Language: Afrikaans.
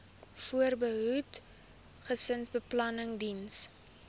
voorbehoeding gesinsbeplanning diens